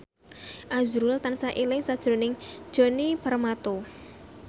azrul tansah eling sakjroning Djoni Permato